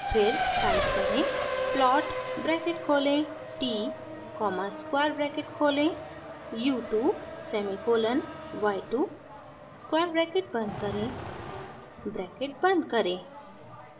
फिर टाइप करें: plot bracket खोलें t कॉमा स्क्वायर ब्रैकेट खोलें u 2 semicolon y 2 square bracket बंद करें ब्रैकेट बंद करें